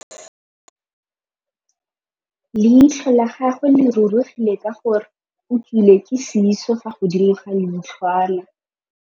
Leitlhô la gagwe le rurugile ka gore o tswile sisô fa godimo ga leitlhwana.